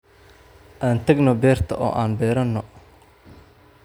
Aan tagno beerta oo an beerano